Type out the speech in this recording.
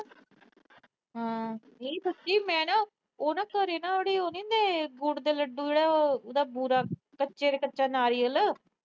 ਨੀ, ਸੱਚੀ ਮੈਂ ਨਾ ਉਹ ਨਾ ਘਰੇ ਜਿਹੜੇ ਉਹ ਨੀ ਹੁੰਦੇ ਗੁੜ ਦੇ ਲੱਡੂ, ਉਹਦਾ ਬੁਰਾ ਕੱਚਾ ਕੱਚਾ ਨਾਰੀਅਲ